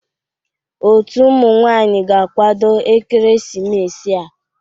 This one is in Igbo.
Otu ụmụ nwanyị ga-akwado ekeresimesi a.